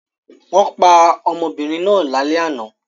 Wọ́n pa ọmọbìnrin náà lálẹ́ àná.